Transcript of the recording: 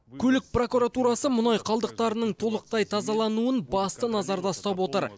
көлік прокуратурасы мұнай қалдықтарының толықтай тазалануын басты назарда ұстап отыр